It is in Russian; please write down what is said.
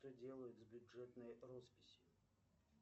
что делают с бюджетной росписью